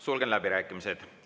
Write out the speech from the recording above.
Sulgen läbirääkimised.